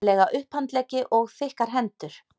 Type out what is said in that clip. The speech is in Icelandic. lega upphandleggi og þykkar hendur.